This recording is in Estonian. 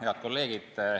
Head kolleegid!